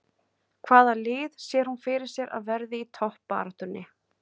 Hvaða lið sér hún fyrir sér að verði í toppbaráttunni?